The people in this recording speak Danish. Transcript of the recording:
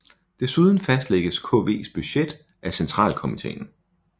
Desuden fastlægges KVs budget af centralkomiteen